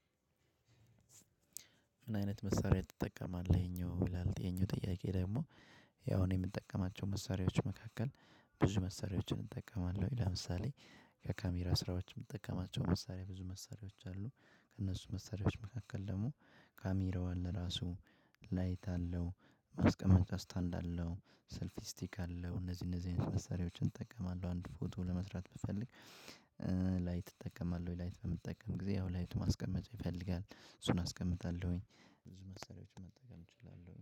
ምን አይነት መሳሪያ ትጠቀማለህ? ይሄኛው ይላል ያኛው ጥያቄ ደግሞ። ያው እኔ የምጠቀማቸው መሳሪያዎች መካከል ብዙ መሳሪያዎችን እጠቀማለሁኝ። ለምሳሌ የካሜራ ስራዎች የምጠቀማቸው መሳሪያ ብዙ መሳሪያዎች አሉ። ከእነሱ መሳሪያዎች መካከል ደግሞ ካሚራዋን ለራሱ ላይት አለው ማስቀመጫ ስታንድ አለው ሰልፊ ስቲክ አለው። እነዚህ እነዚህን መሰሪያዎችን እጠቀማለው። አንድ ፎቶ ለመስራት ብፈልግ። ላይት እጠቀማለው ወይ ላይት በምጠቀም ጊዜ ላይት ማስቀመጥ ይፈልጋል እሱን አስቀምጣለሁኝ ብዙ መሳርያዎችን መጠቀም እችላለው